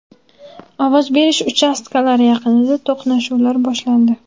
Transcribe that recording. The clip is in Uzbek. Ovoz berish uchastkalari yaqinida to‘qnashuvlar boshlandi.